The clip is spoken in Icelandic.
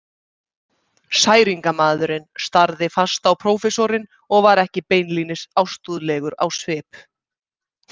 Særingamaðurinn starði fast á prófessorinn og var ekki beinlínis ástúðlegur á svip.